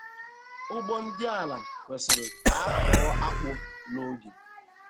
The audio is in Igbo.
Ugbo dị ala kwesiri ka akọọ akpụ n'oge.